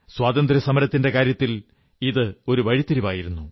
സ്വാതന്ത്ര്യസമരത്തിന്റെ കാര്യത്തിൽ ഇതൊരു വഴിത്തിരിവായിരുന്നു